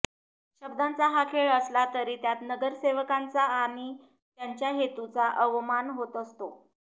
शब्दांचा हा खेळ असला तरी त्यात नगरसेवकांचा आणि त्यांच्या हेतूचा अवमान होत असतो